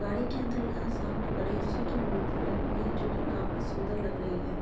गाड़ी के अंदर यहाँ सामने गणेश जी की मूर्ति रखी है जो की काफी सुन्दर लग रही है।